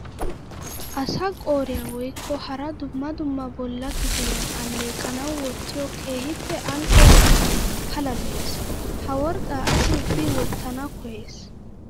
Asaa qooriya woykko hara dumma dumma bolla kifiliyan alequwawu wottiyo keehippe ali'o worqqay pala lo'ees. Ha worqqa asi ubbi wotana koyees.